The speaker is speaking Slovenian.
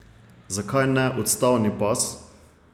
Zakaj ne odstavni pas?